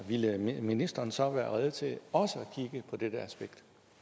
ville ministeren så være rede til også at kigge på dette aspekt